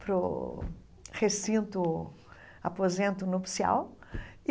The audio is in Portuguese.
para o recinto aposento nupcial.